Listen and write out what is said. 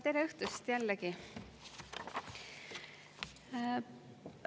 Tere õhtust jällegi!